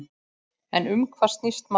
En um hvað snýst málið?